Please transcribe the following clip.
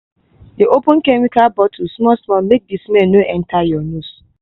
dey open chemical bottle small small make the smell no enter your nose